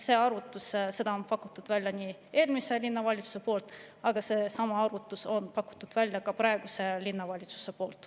Selle arvutuse pakkus välja eelmine linnavalitsus ja sellesama arvutuse on pakkunud välja ka praegune linnavalitsus.